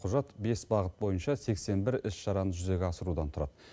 құжат бес бағыт бойынша сексен бір іс шараны жүзеге асырудан тұрады